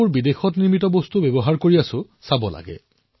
বন্ধুসকল আমি এই ভাৱনা বৰ্তাই ৰাখিব লাগিব আৰু বঢ়াব লাগিব